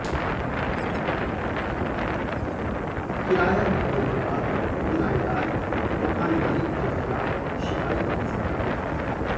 किराया बढ़ने के बाद किरायेदार मकान मालिक के खिलाफ शिकायत करता है